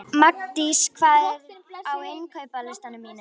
Magndís, hvað er á innkaupalistanum mínum?